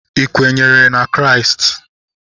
Ị kwenyere na Kraịst?